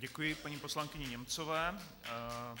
Děkuji paní poslankyni Němcové.